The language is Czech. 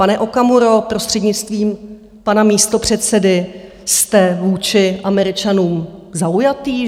Pane Okamuro, prostřednictvím pana místopředsedy, jste vůči Američanům zaujatý?